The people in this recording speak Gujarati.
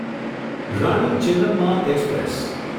રાણી ચેન્નમ્મા એક્સપ્રેસ